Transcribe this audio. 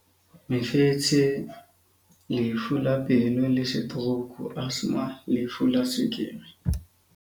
mefetshe lefu la pelo le setorouku asthma lefu la tswekere.